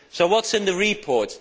So what is in the report?